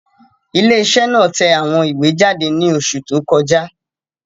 Ilé iṣẹ́ náà tẹ àwọn ìwé jáde ní oṣù tó kọjá